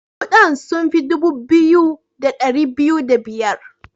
Kudan sun fi dubu biyu da dari biyu da biyar.